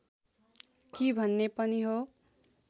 कि भन्ने पनि हो